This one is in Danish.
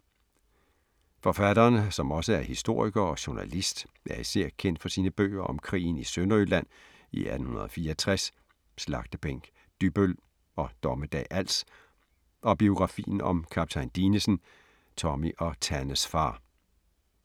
Forfatteren, som også er historiker og journalist, er især kendt for sine bøger om krigen i Sønderjylland i 1864, Slagtebænk Dybbøl og Dommedag Als og biografien om Kaptajn Dinesen, Tommy og Tannes far.